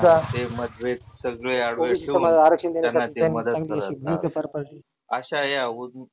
मतभेत सगळे बाजुला करुण त्यांना ते मदत करतात. आशा या